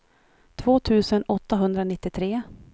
två tusen åttahundranittiotre